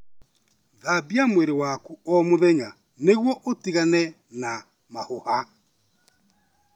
Thambia mwĩrĩ waku o mũthenya nĩguo ũtigane na mahũha.